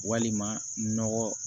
Walima nɔgɔ